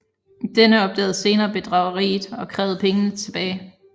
Denne opdagede senere bedrageriet og krævede pengene tilbage